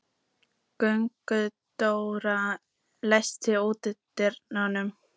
Gunndóra, læstu útidyrunum.